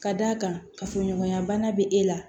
Ka d'a kan kafoɲɔgɔnya bana bɛ e la